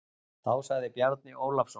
Þá sagði Bjarni Ólafsson